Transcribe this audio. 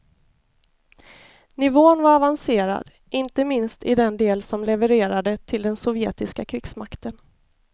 Nivån var avancerad inte minst i den del som levererade till den sovjetiska krigsmakten.